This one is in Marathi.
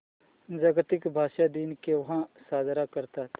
जागतिक भाषा दिन केव्हा साजरा करतात